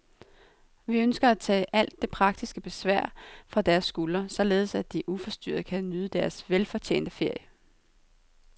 Vi ønsker at tage alt det praktiske besvær fra deres skuldre, således at de uforstyrret kan nyde deres velfortjente ferie.